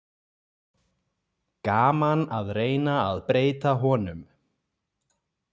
Gaman að reyna að breyta honum.